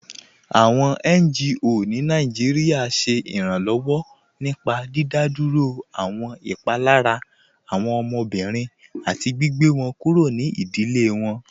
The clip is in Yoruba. Awọn NGO ni Nàìjíríà ṣẹ iranlọwọ nípá dídádúró awọn ipalara awọn ọmọbìrín àti gbìgbẹ̀ wọn kúrò ní ìdílé wọn.